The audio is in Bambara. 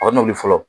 A n'olu fɔlɔ